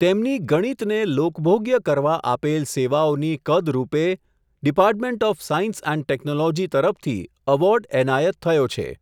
તેમની ગણિતને લોકભોગ્ય કરવા આપેલ સેવાઓની કદરુપે department of science and technology તરફથી, એવોર્ડ એનાયત થયો છે.